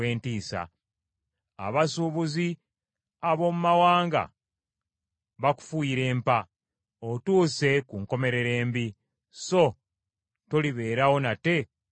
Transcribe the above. Abasuubuzi ab’omu mawanga bakufuuyira empa; otuuse ku nkomerero embi, so tolibeerawo nate ennaku zonna.’ ”